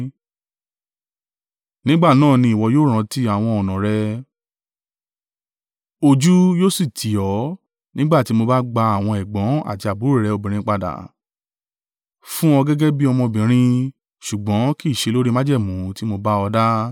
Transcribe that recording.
Nígbà náà ni ìwọ yóò rántí àwọn ọ̀nà rẹ ojú yóò sì tì ọ́ nígbà tí mo bá gba àwọn ẹ̀gbọ́n àti àbúrò rẹ obìnrin padà. Fún ọ gẹ́gẹ́ bí ọmọbìnrin, ṣùgbọ́n kì í ṣe lórí májẹ̀mú tí mo bá ọ dá.